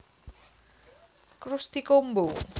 Krusty Combo